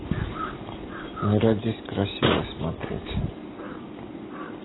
не родись красивой смотреть